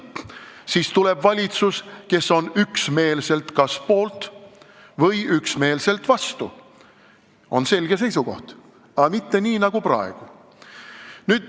Siis tuleb valitsus, kes on kas üksmeelselt poolt või üksmeelselt vastu – on selge seisukoht, aga mitte nii nagu praegu.